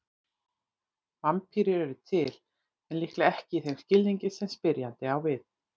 Vampírur eru til, en líklega ekki í þeim skilningi sem spyrjandi á við.